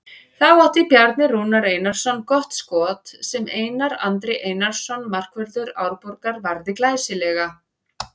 Þá átti Bjarni Rúnar Einarsson gott skot sem Einar Andri Einarsson markvörður Árborgar varði glæsilega.